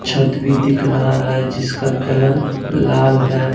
छत भी दिख रहा है जिसका कलर लाल है।